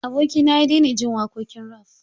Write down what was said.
Abokina ya daina jin waƙoƙin raf.